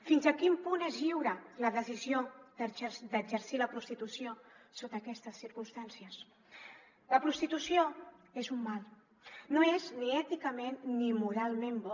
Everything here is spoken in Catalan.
fins a quin punt és lliure la decisió d’exercir la prostitució sota aquestes circumstàncies la prostitució és un mal no és ni èticament ni moralment bo